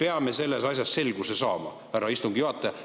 Me peame selles asjas selguse saama, härra istungi juhataja.